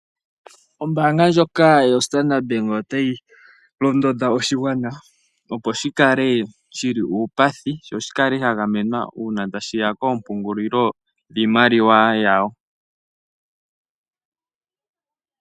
Ombaanga ndjoka yoStandrd Bank otayi londodha oshigwana opo shi kale shi li uupathi sho shi kale sha gamenwa uuna tashi ya koompungulilo dhimaliwa yawo.